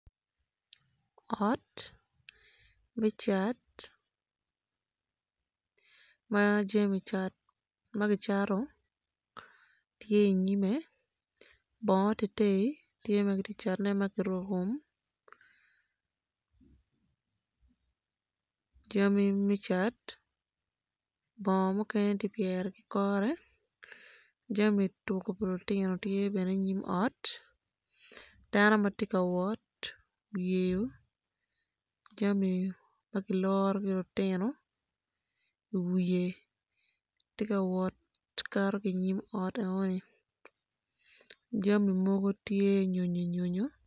Ot me cat ma jami cat ma kicato tye i nyim bongo tye ma kitye kacatone jami me cat bongo mukene ki keto i kore jami tuko pa lutino bene tye ki kiketo i nyim ot.